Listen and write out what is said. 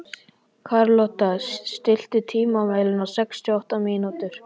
Karlotta, stilltu tímamælinn á sextíu og átta mínútur.